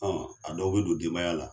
a dɔw bɛ don denbaya la.